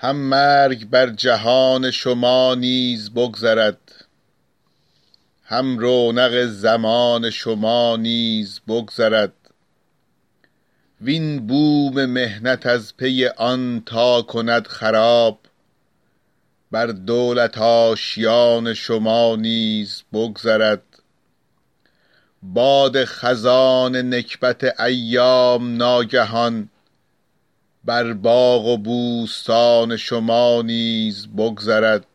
هم مرگ بر جهان شما نیز بگذرد هم رونق زمان شما نیز بگذرد وین بوم محنت از پی آن تا کند خراب بر دولت آشیان شما نیز بگذرد باد خزان نکبت ایام ناگهان بر باغ و بوستان شما نیز بگذرد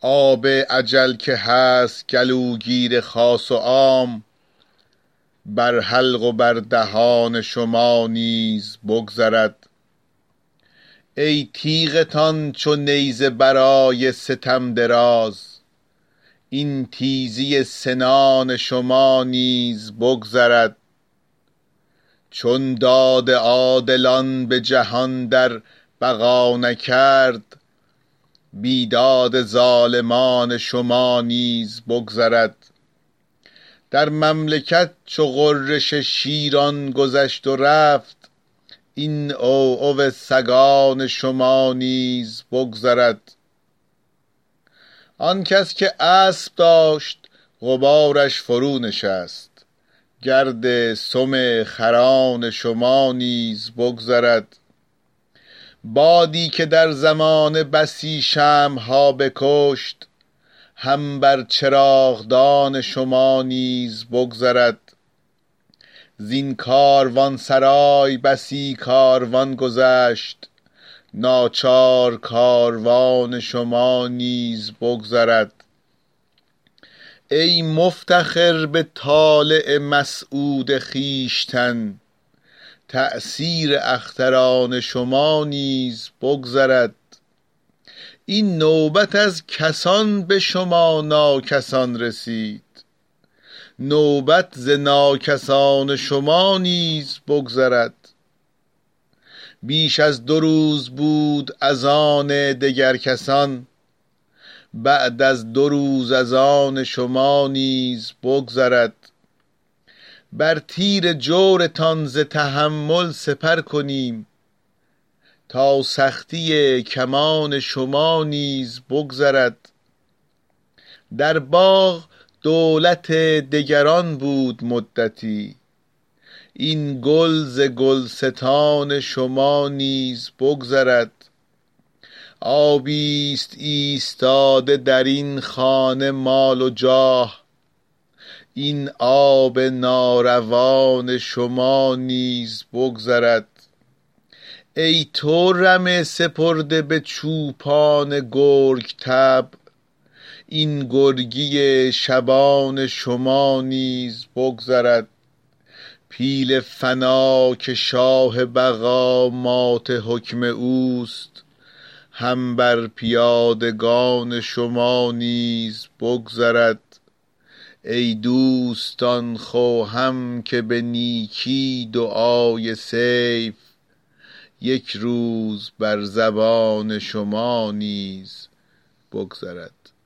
آب اجل که هست گلوگیر خاص و عام بر حلق و بر دهان شما نیز بگذرد ای تیغتان چو نیزه برای ستم دراز این تیزی سنان شما نیز بگذرد چون داد عادلان به جهان در بقا نکرد بیداد ظالمان شما نیز بگذرد در مملکت چو غرش شیران گذشت و رفت این عوعو سگان شما نیز بگذرد آن کس که اسب داشت غبارش فرونشست گرد سم خران شما نیز بگذرد بادی که در زمانه بسی شمع ها بکشت هم بر چراغدان شما نیز بگذرد زین کاروانسرای بسی کاروان گذشت ناچار کاروان شما نیز بگذرد ای مفتخر به طالع مسعود خویشتن تأثیر اختران شما نیز بگذرد این نوبت از کسان به شما ناکسان رسید نوبت ز ناکسان شما نیز بگذرد بیش از دو روز بود از آن دگر کسان بعد از دو روز از آن شما نیز بگذرد بر تیر جورتان ز تحمل سپر کنیم تا سختی کمان شما نیز بگذرد در باغ دولت دگران بود مدتی این گل ز گلستان شما نیز بگذرد آبی ست ایستاده درین خانه مال و جاه این آب ناروان شما نیز بگذرد ای تو رمه سپرده به چوپان گرگ طبع این گرگی شبان شما نیز بگذرد پیل فنا که شاه بقا مات حکم اوست هم بر پیادگان شما نیز بگذرد ای دوستان خوهم که به نیکی دعای سیف یک روز بر زبان شما نیز بگذرد